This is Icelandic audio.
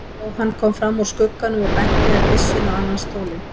Jóhann kom fram úr skugganum og benti með byssunni á annan stólinn.